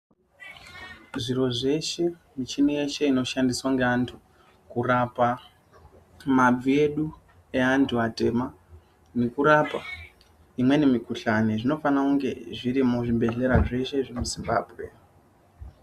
Zviro zveshe, michini yeshe inoshandiswa ngeantu kurapa mabvi edu eantu atema nekurapa imweni mikuhlani zvinofana kunge zvirimo muzvibhedhlera zvese zvemu Zimbabwe .